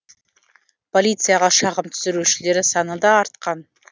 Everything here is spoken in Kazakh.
полицияға шағым түсірушілер саны да артқан